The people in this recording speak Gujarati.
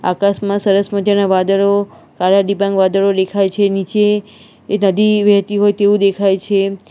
આકાશમાં સરસ મજાના વાદરો કારા ડિંબાગ વાદરો દેખાય છે નીચે એ નદી વહેતી હોય તેવું દેખાય છે.